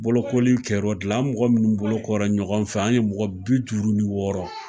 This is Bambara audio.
Bolokoli kɛla o de la. A mɔgɔ munnu bolo ko la ɲɔgɔn fɛ, an ye mɔgɔ bi duru ni wɔɔrɔ.